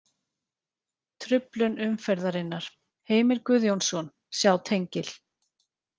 Truflun umferðarinnar: Heimir Guðjónsson Sjá tengil.